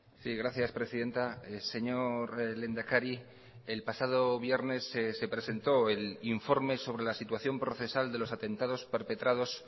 sí gracias presidenta señor lehendakari el pasado viernes se presentó el informe sobre la situación procesal de los atentados perpetrados